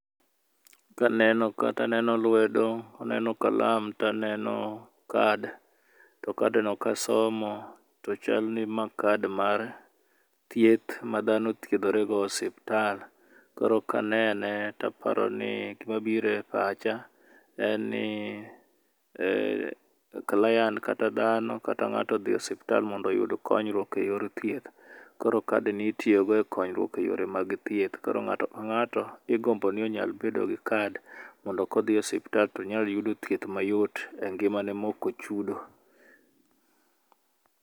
Ka neno ka to aneno lwedo, aneno kalam to aneno card. To card no kasomo to chal ni ma card mar thieth, ma dhano thiedhorego e osiptal. Koro ka anene to aparoni, gima biro e pacha en ni um client kata dhano, kata ngáto odhi e osiptal mondo oyud konyruok e yor thieth. Koro card ni itiyogo e konyruok e yore mag thieth. Koro ngáto ka ngáto igombo ni onyal bedo gi card. Mondo ka odhi e osiptal to onyal yudo thieth mayot, e ngimane ma ok ochudo.